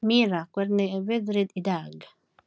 Mirra, hvernig er veðrið í dag?